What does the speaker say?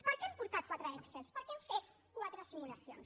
per què hem portat quatre excels perquè hem fet quatre simulacions